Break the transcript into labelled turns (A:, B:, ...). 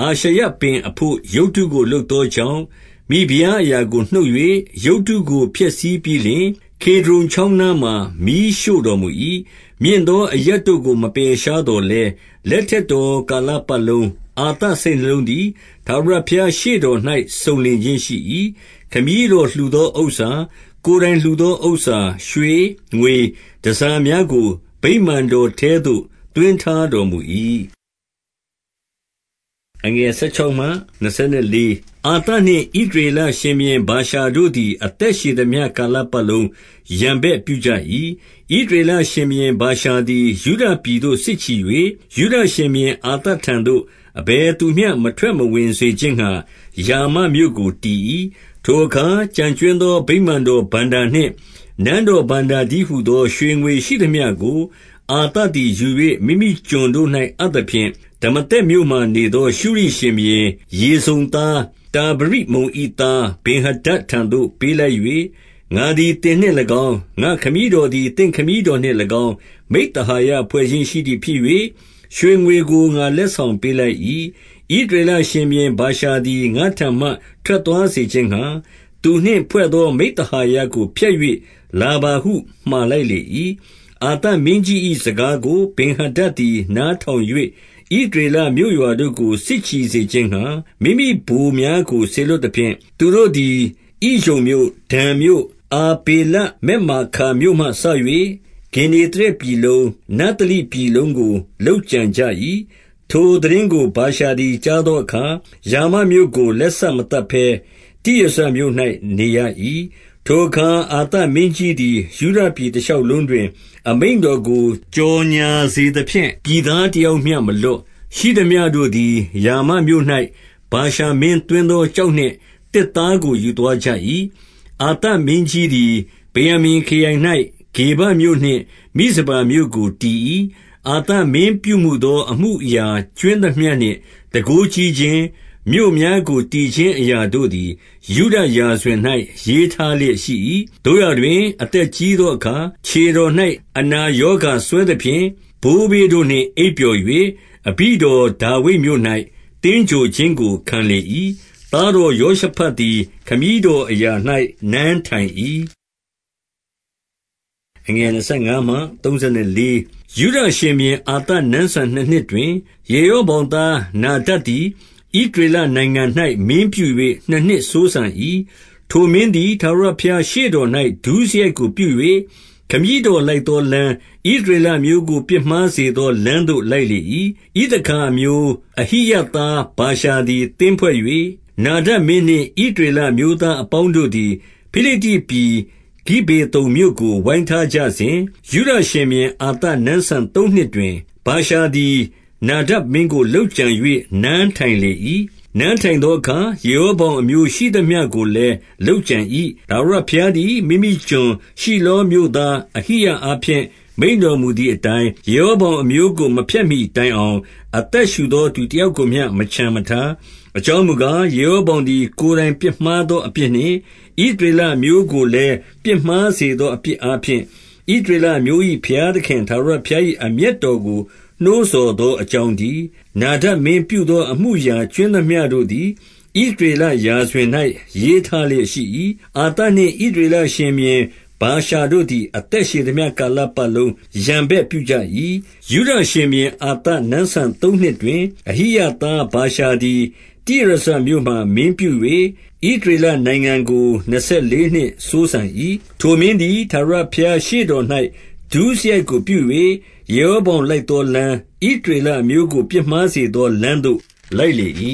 A: အာရှရပင်အဘို့ ရုပ်တုကိုလုပ်သောကြောင့်၊ မိဖုရားအရာကိုနှုတ်၍၊ ရုပ်တုကို ဖျက်ဆီးပြီးလျှင်၊ ကေဒြုန်ချောင်းနားမှာ မီးရှို့တော်မူ၏။ 14 မြင့်သောအရပ်တို့ကို မပယ်ရှားသော်လည်း၊ လက်ထက်တော် ကာလပတ်လုံး၊ အာသစိတ်နှလုံးသည် ထာဝရဘုရားရှေ့တော်၌ စုံလင်ခြင်းရှိ၏။ 15 ခမည်းတော်လှူသောဥစ္စာ၊ ကိုယ်တိုင်လှူသော ဥစ္စာ၊ ရွှေ၊ ငွေတန်ဆာများကို ဗိမာန်တော်ထဲသို့ သွင်းတော်မူ၏။ 16 အာသနှင့် ဣသရေလရှင်ဘုရင် ဗာရှာတို့သည် အသက်ရှည်သမျှ ကာလပတ်လုံး ရန်ဘက်ပြုကြ၏။ 17 ဣသရေလရှင်ဘုရင် ဗာရှာသည် ယုဒပြည်သို့ စစ်ချီ၍၊ ယုဒရှင်ဘုရင်အာသထံသို့ အဘယ်သူမျှ မထွက် မဝင်စေခြင်းငှါ ရာမမြို့ကို တည်၏။ 18 ထိုအခါ ကျန်ကြွင်းသော ဗိမာန်တော်ဘဏ္ဍာနှင့် နန်းတော်ဘဏ္ဍာတည်းဟူသော ရွှေငွေရှိသမျှကို အာသ သည်ယူ၍ မိမိကျွန်တို့၌ အပ်သဖြင့်၊ ဒမာသက်မြို့မှာ နေသောရှုရိရှင်ဘုရင် ရေဇုန်သား တာဗရိမုန်၏သား ဗင်္ဟာဒဒ်ထံသို့ပေးလိုက်၍၊ 19 ငါသည်သင်နှင့်၎င်း၊ ငါ့ခမည်းတော်သည် သင့် ခမည်းတော်နှင့်၎င်း၊ မိဿဟာယဖွဲ့ခြင်းရှိသည်ဖြစ်၍၊ ရွှေငွေကို ငါလက်ဆောင်ပေးလိုက်၏။ ဣသရေလ ရှင်ဘုရင် ဗာရှာသည် ငါ့ထံမှ ထွက်သွားစေခြင်းငှါ၊ သူနှင့် ဖွဲ့သော မိဿဟာယကို ဖျက်၍လာပါဟု မှာလိုက်လေ၏။ 20 အာသမင်းကြီး၏ စကားကို ဗင်္ဟာဒဒ်သည် နားထောင်၍၊ ဣသရေလမြို့ရွာတို့ကို စစ်ချီစေခြင်းငှါ မိမိဗိုလ်များကို စေလွှတ်သဖြင့်၊ သူတို့သည် ဣယုန်မြို့၊ ဒန်မြို့၊ အာဗေလဗက်မာခါမြို့မှစ၍ဂင်္နေသရက်ပြည်လုံး၊ နဿလိပြည်လုံးကို လုပ်ကြံကြ၏။ 21 ထိုသိတင်းကို ဗာရှာသည် ကြားသောအခါ၊ ရာမမြို့ကို လက်စမသတ်ဘဲ တိရဇမြို့၌ နေရ၏။ 22 ထိုအခါ အာသမင်းကြီးသည် ယုဒပြည် တရှောက်လုံးတွင် အမိန့်တော်ကို ကြော်ငြာစေသဖြင့်၊ ပြည်သားတယောက်မျှ မလွတ်၊ ရှိသမျှတို့သည် ရာမမြို့၌ ဗာရှာမင်းသွင်းသော ကျောက်နှင့် သစ်သားကိုယူသွား ကြ၍၊ အာသမင်းကြီးသည် ဗင်္ယာမိန်ခရိုင်၌ ဂေဘမြို့နှင့် မိဇပါမြို့ကို တည်၏။ 23 အာသမင်းပြုမူသောအမှုအရာကြွင်းသမျှနှင့် တန်ခိုးကြီးခြင်း၊ မြို့များကိုတည်ခြင်းအရာတို့သည် ယုဒ ရာဇဝင်၌ ရေးထားလျက်ရှိ၏။ သို့ရာတွင် အသက်ကြီး သောအခါ ခြေတော်၌ အနာရောဂါစွဲသဖြင့်၊ 24 ဘိုးဘေးတို့နှင့်အိပ်ပျော်၍ အဘိတော်ဒါဝိဒ်မြို့၌ သင်္ဂြိုဟ်ခြင်းကိုခံလေ၏။ သားတော်ယောရှဖတ်သည် ခမည်းတော်အရာ၌ နန်းထိုင်၏။ 25 ယုဒရှင်ဘုရင် အာသနန်းစံနှစ်နှစ်တွင်၊ ယေရောဗောင်သား နာဒဒ်သည် ဣသရေလနိုင်ငံ၌ မင်းပြု၍ နှစ်နှစ်စိုးစံ၏။ 26 ထိုမင်းသည် ထာဝရဘုရားရှေ့တော်၌ ဒုစရိုက်ကိုပြု၍၊ ခမည်းတော်လိုက်သောလမ်း၊ ဣသရေလ အမျိုးကို ပြစ်မှားစေသော လမ်းသို့ လိုက်လေ၏။ 27 ဣသခါအမျိုး၊ အဟိယသားဗာရှာသည် သင်းဖွဲ့၍၊ နာဒဒ်မင်းနှင့် ဣသရေလအမျိုးသားအပေါင်း တို့သည် ဖိလိတ္တိပြည် ဂိဗေသုန်မြို့ကို ဝိုင်းထားကြစဉ်၊ 28 ယုဒရှင်ဘုရင်အာသ နန်းစံသုံးနှစ်တွင်၊ ဗာရှာသည် နာဒဒ်မင်းကို လုပ်ကြံ၍ နန်းထိုင်လေ၏။ 29 နန်းထိုင်သောအခါ ယေရောဗောင်အမျိုးရှိသမျှကိုလည်း လုပ်ကြံ၏။ ထာဝရဘုရားသည် မိမိကျွန်၊ ရှိလောမြို့သား အဟိယအားဖြင့် မိန့်တော်မူသည် အတိုင်း၊ ယေရောဗောင်အမျိုးကို မဖျက်မှီတိုင်အောင်၊ အသက်ရှူသောသူတယောက်ကိုမျှ မချန်မထား။ 30 အကြောင်းမူကား၊ ယေရောဗောင်သည် ကိုယ်တိုင်ပြစ်မှားသော အပြစ်နှင့်ဣသရေလအမျိုးကို လည်းပြစ်မှား စေသော အပြစ်အားဖြင့်၊ ဣသရေလအမျိုး ၏ ဘုရားသခင်ထာဝရဘုရား၏အမျက်တော်ကို နှိုးဆော် သောအကြောင်းတည်း။ 31 နာဒဒ်မင်းပြုမူသော အမှုအရာကြွင်းသမျှတို့ သည် ဣသရေလရာဇဝင်၌ရေးထားလျက် ရှိ၏။ 32 အာသနှင့်ဣသရေလရှင်ဘုရင်ဗာရှာတို့သည် အသက်ရှည်သမျှ ကာလပတ်လုံး ရန်ဘက်ပြုကြ၏။ 33 ယုဒရှင်ဘုရင် အာသနန်းစံသုံးနှစ်တွင်၊ အဟိယသားဗာရှာသည် တိရဇမြို့မှာမင်းပြု၍၊ ဣသရေလနိုင်ငံ ကို နှစ်ဆယ်လေးနှစ်စိုးစံ၏။ 34 ထိုမင်းသည် ထာဝရဘုရားရှေ့တော်၌ ဒုစရိုက်ကိုပြု၍၊ ယေရောဗောင်လိုက်သောလမ်း၊ ဣသရေလ အမျိုးကိုပြစ်မှားစေသောလမ်းသို့ လိုက်လေ၏။